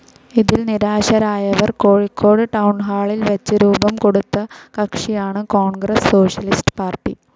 ഇതിൽ നിരാശരായവർ കോഴിക്കോട് ടൗൺഹാളിൽ വച്ച് രൂപം കൊടുത്ത കക്ഷിയാണ് കോൺഗ്രസ്‌ സോഷ്യലിസ്റ്റ്‌ പാർട്ടി.